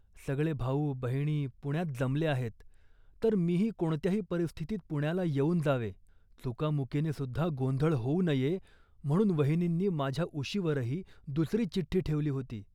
सगळे भाऊ, बहिणी पुण्यात जमले आहेत, तर मीही कोणत्याही परिस्थितीत पुण्याला येऊन जावे. चुकामुकीनेसुद्धा गोंधळ होऊ नये, म्हणून वहिनींनी माझ्या उशीवरही दुसरी चिठी ठेवली होती